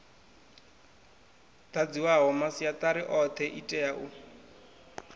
dadziwaho masiatari othe itea u